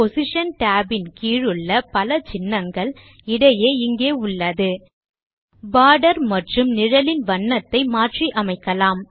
border மற்றும் நிழலின் வண்ணத்தை மாற்றி அமைக்கலாம்